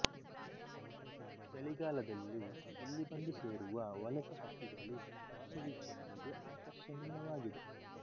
ಚಳಿಗಾಲದಲ್ಲಿ ಇಲ್ಲಿ ಬಂದು ಸೇರುವ ವಲಸೆಹಕ್ಕಿಗಳು ಪಕ್ಷಿ ವೀಕ್ಷಕರಿಗೆ ಆಕರ್ಷಣೀಯವಾಗಿದೆ